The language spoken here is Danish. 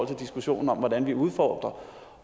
diskussionen om hvordan vi udfordrer